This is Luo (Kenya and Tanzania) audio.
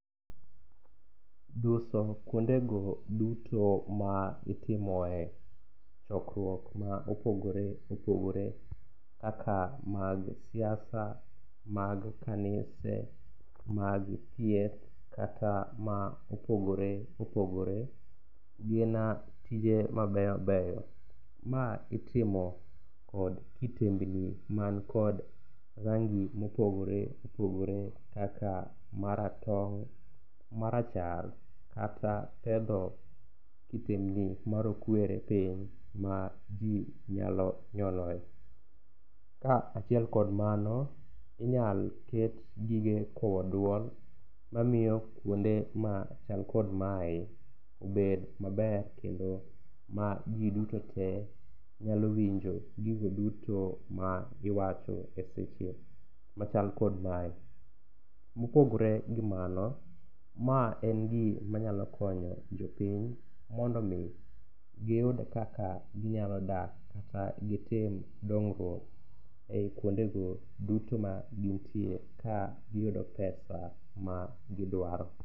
Duso kuondego duto ma itimoe chokruok ma opogore opogore kaka mag siasa, mag kanise, mag thieth kata ma opogore opogore gin tije mabeyo beyo. Ma itimo kod kitengni makod rangi mopogore opogore kaka maratong', marachar kata pedho kitendni marokwere piny ma ji nyalo nyoloe. Kaachiel kod mano, inyal ket gige kowo duok mamiyo kuonde machak kod mae obed maber kendo ma ji duto te nyalo winjo gigo duto magiwacho e seche machal kod mae. Mopogore gi mano, ma en gimanyalo konyo jopiny mondo omi giyud kaka ginyalo dak kata gitim dongruok e i kuondego duto magintie kagiyudo pesa magidwaro.